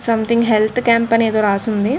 Something health campaign అని ఎదో రాసి ఉంది.